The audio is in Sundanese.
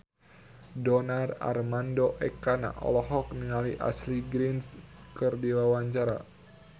Donar Armando Ekana olohok ningali Ashley Greene keur diwawancara